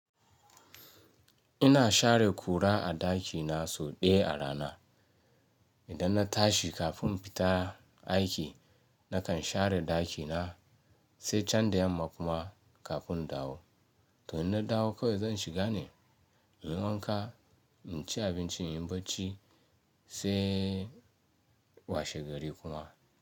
Ina share kura a ɗakina sau ɗaya a rana. Idan na tashi kafin in fita aiki nakan share ɗakina sai can da yamma kuma kafin in dawo. To ina dawo kawai zan shiga ne, zan wanka, in ci abinci, in yi barci sai washe gari kuma.